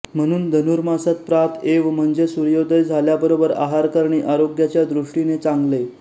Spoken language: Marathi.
म्हणून धनुर्मासात प्रात एव म्हणजे सूर्योदय झाल्याबरोबर आहार करणे आरोग्याच्या दृष्टीने चांगले